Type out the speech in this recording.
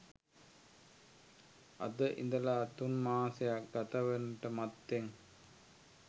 අද ඉඳලා තුන්මාසයක් ගතවන්නට මත්තෙන්